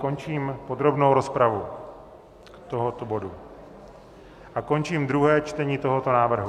Končím podrobnou rozpravu tohoto bodu a končím druhé čtení tohoto návrhu.